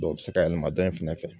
Dɔw bɛ se ka yɛlɛma dɔ in fɛnɛ fɛ